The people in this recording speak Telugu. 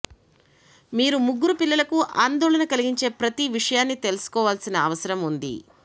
మీరు ముగ్గురు పిల్లలకు ఆందోళన కలిగించే ప్రతి విషయాన్ని తెలుసుకోవలసిన అవసరం ఉంది